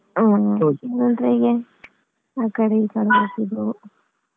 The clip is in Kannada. ಹ್ಮ್ ಆಕಡೆ ಈಕಡೆ ಹೋಗುದು.